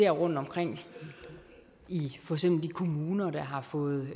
rundtomkring i de kommuner der har fået